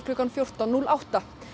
klukkan fjórtán núll átta